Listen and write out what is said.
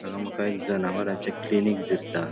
हांगा मका एक जनावराचे क्लिनिक दिसता.